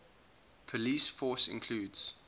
police force includes